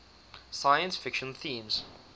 science fiction themes